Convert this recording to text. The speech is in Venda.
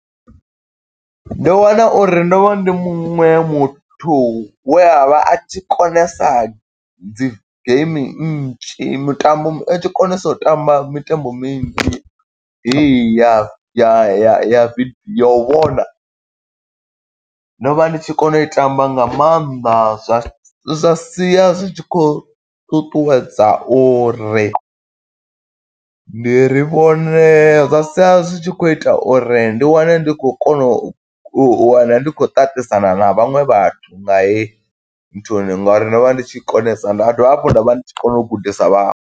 Ndo wana uri ndo vha ndi muṅwe muthu we a vha a tshi konesa dzi geimi nnzhi, mitambo a tshi konesa u tamba mitambo minzhi heyi ya ya ya ya video ya u vhona, Ndo vha ndi tshi kona u i tamba nga maanḓa zwa zwa sia zwi tshi khou ṱuṱuwedza uri ndi ri vhone zwa sia zwi tshi khou ita uri ndi wane ndi khou kona u wana, ndi khou ṱaṱisana na vhaṅwe vhathu nga heyi nthuni. Ngo uri ndo vha ndi tshi konesa nda dovha hafhu nda vha ndi tshi kona u gudisa vhaṅwe.